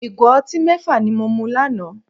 Ìgò ọtí mẹ́fà ni mo mu lánàá